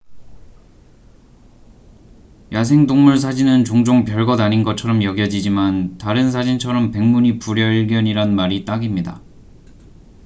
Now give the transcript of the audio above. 야생 동물 사진은 종종 별것 아닌 것처럼 여겨지지만 다른 사진처럼 백문이 불여일견이란 말이 딱입니다